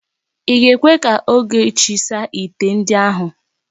I ga-ekwe ka Ogechi saa ite ndi ahụ?